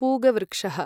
पूगवृक्षः